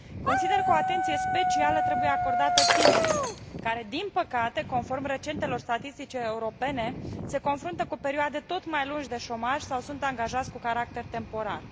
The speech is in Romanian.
Consider că o atenție specială trebuie acordată tinerilor care, din păcate, conform recentelor statistici europene, se confruntă cu perioade tot mai lungi de șomaj sau sunt angajați cu caracter temporar.